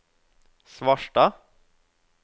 Svarstad